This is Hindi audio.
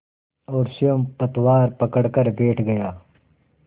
और स्वयं पतवार पकड़कर बैठ गया